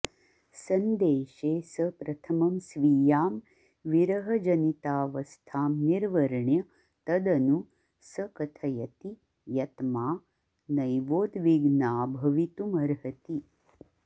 सन्देशे स प्रथमं स्वीयां विरहजनितावस्थां निर्वर्ण्य तदनु स कथयति यत्मा नैवोद्विग्ना भवितुमर्हति